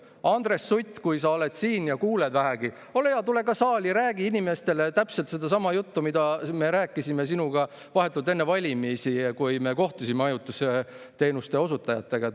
Andres Sutt, kui sa oled siin ja kuulad vähegi, ole hea, tule ka saali, räägi inimestele täpselt sedasama juttu, mida me rääkisime sinuga vahetult enne valimisi, kui me kohtusime majutusteenuste osutajatega.